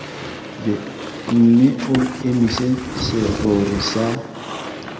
mme o emise serori sa